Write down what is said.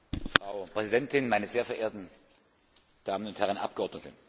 Frau Präsidentin, meine sehr verehrten Damen und Herren Abgeordnete!